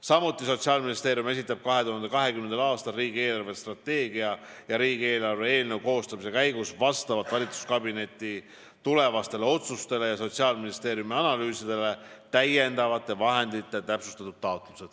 Samuti esitab Sotsiaalministeerium 2020. aastal riigi eelarvestrateegia ja riigieelarve eelnõu koostamise käigus vastavalt valitsuskabineti tulevastele otsustele ja Sotsiaalministeeriumi analüüsidele täiendavate vahendite täpsustatud taotlused.